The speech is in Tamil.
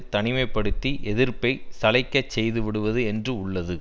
தனிமை படுத்தி எதிர்ப்பை சளைக்கச் செய்துவிடுவது என்று உள்ளது